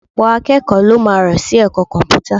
Ọ̀pọ̀ akẹ́kọ̀ọ́ ló máa rọ́ sí ẹ̀kọ́ Kọ̀m̀pútà